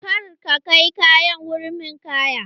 Kar ka kai yaran wurin ninkaya!